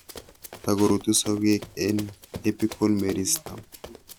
Takorutu sokeek en apical meristem